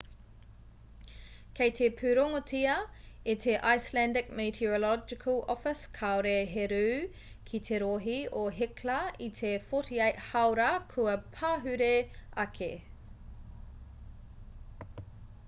kei te pūrongotia e te icelandic meteorological office kāore he rū ki te rohe o hekla i te 48 hāora kua pahure ake